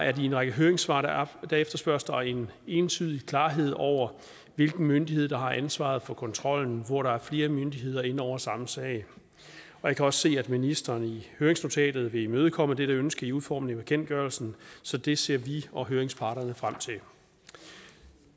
at i en række høringssvar efterspørges der en entydig klarhed over hvilken myndighed der har ansvaret for kontrollen hvor der er flere myndigheder inde over samme sag jeg kan også se at ministeren i høringsnotatet vil imødekomme dette ønske i udformningen af bekendtgørelsen så det ser vi og høringsparterne frem til